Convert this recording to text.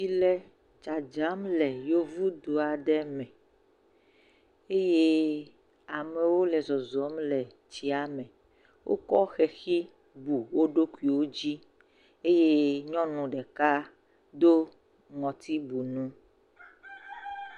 Tsi le dzadzam le yevu du aɖe me eye amewo le zɔzɔm le tsia me. Wokɔ xexi bu wo ɖokuiwo dzi eye nyɔnu ɖeka do ŋutsibunu.